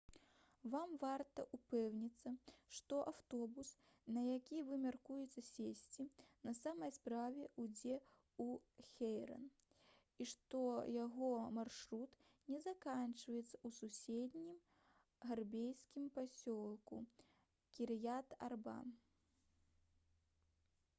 вам варта ўпэўніцца што аўтобус на які вы мяркуеце сесці на самой справе ідзе ў хеўрон і што яго маршрут не заканчваецца ў суседнім габрэйскім пасёлку кір'ят-арба